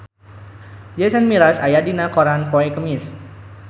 Jason Mraz aya dina koran poe Kemis